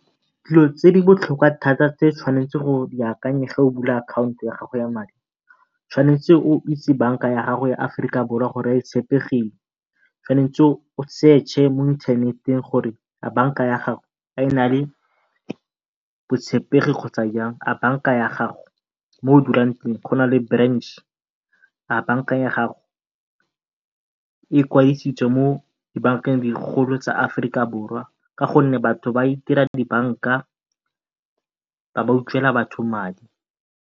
Dilo tse di botlhokwa thata tse tshwanetseng o di akanye o bula akhaonto ya gago ya madi, o tshwanetse o itse banka ya gago ya Aforika Borwa gore e tshepegile. Tshwanetse o search-e mo inthaneteng gore a banka ya gago a e na le botshepegi kgotsa jang. A banka ya gago mo o dulang teng go na le branch-e, a banka ya gago e ikwadisitse mo dibankeng digolo tsa Aforika Borwa ka gonne batho ba itira dibanka ba bo ba batho madi.